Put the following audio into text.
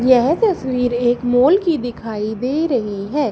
यह तस्वीर एक मॉल की दिखाई दे रही है।